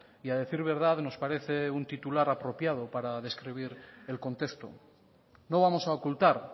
y a decir verdad nos parece un titular apropiado para describir el contexto no vamos a ocultar